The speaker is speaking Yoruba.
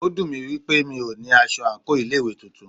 Ó dùnmí pé mí o ní aṣọ àńkò ilé ìwé titun.